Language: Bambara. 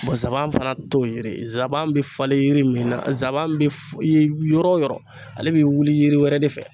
zaban fana t'o yiri ye zaban be falen yiri min na zaban be f yen yɔrɔ yɔrɔ ale be wuli yiri wɛrɛ de fɛ.